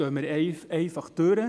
da gehen wir einfach durch.